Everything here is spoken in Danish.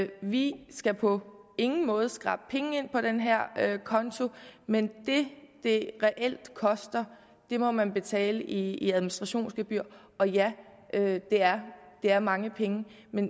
vi skal på ingen måde skrabe penge ind på den her konto men det det reelt koster må man betale i administrationsgebyr og ja det er er mange penge